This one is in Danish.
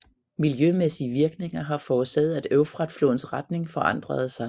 Miljømæssige virkninger har forårsaget at Eufrat flodens retning forandrede sig